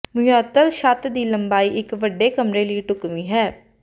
ਮੁਅੱਤਲ ਛੱਤ ਦੀ ਲੰਬਾਈ ਇੱਕ ਵੱਡੇ ਕਮਰੇ ਲਈ ਢੁਕਵੀਂ ਹੈ